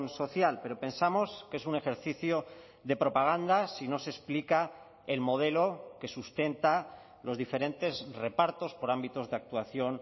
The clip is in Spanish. social pero pensamos que es un ejercicio de propaganda si no se explica el modelo que sustenta los diferentes repartos por ámbitos de actuación